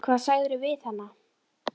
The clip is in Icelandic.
Hvað sagðirðu við hana?